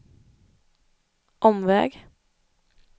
omväg